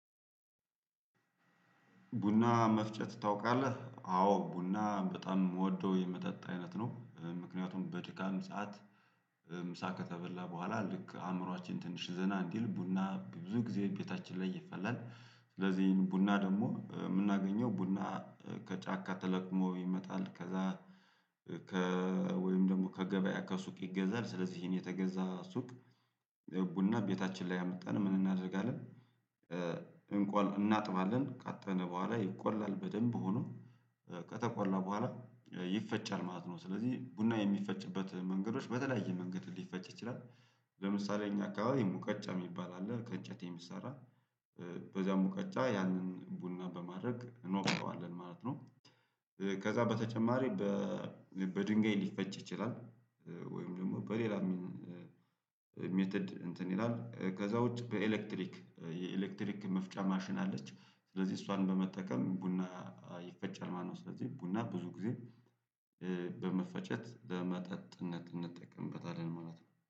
ቡና መፍጨት ታውቃለህ አዎ ቡና በጣም የምወደው የመጠጥ አይነት ነው። ምክንያቱም በድካም ሰዓት ምሳ ከተበላ በኋላ ልክ አእምሮአችን ትንሽ ዘና እንዲል ቡና ብዙ ጊዜ ቤታችን ላይ ይፈላል። ስለዚህ ቡና ደግሞ የምናገኘው ቡና ከጫካ ተለቅሞ ይመጣል። ከዛ ወይም ደግሞ ከገበያ ከሱቅ ይገዛል። ስለዚህ ይሄን የተገዛ ሱቅ ያው ቡና ቤታችን ላይ አመጣን ምን እናደርጋለን? እናጥባለን ካጠብን በኋላ ይቆላል በደንብ ሆኖ ከተቆላ በኋላ ይፈጫል ማለት ነው። ስለዚህ ቡና የሚፈጭበት መንገዶች በተለያየ መንገድ ሊፈጭ ይችላል። ለምሳሌ እኛ አካባቢ ሙቀጫ የሚባል አለ ከእጨት የሚሰራ። በዛ ሙቀጫ ያንን ቡና በማድረግ እንወቅጠዋለን ማለት ነው። ከዛ በተጨማሪ በድንጋይ ሊፈጭ ይችላል። ወይም ደግሞ በሌላ ሜትድ እንትን ይላል ከዛ ውጪ በኤሌክትሪክ የኤሌክትሪክ መፍጫ ማሽን አለች። ስለዚህ እሷን በመጠቀም ቡና ይፈጨል ማለት ነው። ስለዚህ ቡና ብዙ ጊዜ በመፈጨት ለመጠጥነት እንጠቀምበታለን ማለት ነው